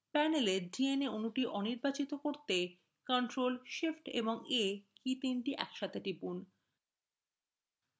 panela dna অণুটি অনির্বাচিত করতে ctrl shift এবং a কীতিনটি একসাথে টিপুন